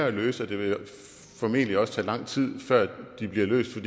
at løse og det vil formentlig også tage lang tid før de bliver løst